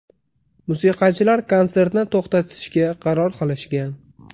Musiqachilar konsertni to‘xtatishga qaror qilishgan.